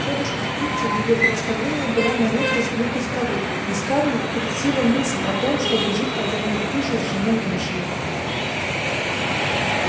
тётушка питти в её представлении была на редкость глупой старухой и скарлетт претила мысль о том чтобы жить под одной крышей с женой эшли